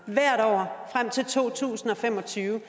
hvert år frem til to tusind og fem og tyve